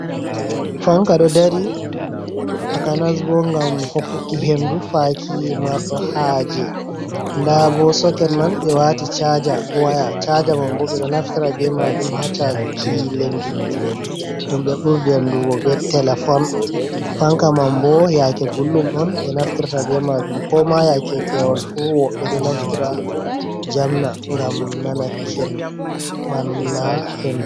fanka do dari taka nasbo gam hokkuki hendu faki mardo haje, dabo soket man be wati chaja waya chaja man bo be do naftira be majum ha chaju ki lengi jude dum be burdir andugo be telefon. fanka man bo yake guldum on be naftirta be majum ko ma yake pewol fu wobɓe do naftira jamna gam nana keni man la hendu